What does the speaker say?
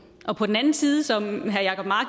og på den anden side som